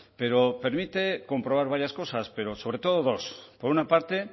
pero permite comprobar varias cosas pero sobre todo dos por una parte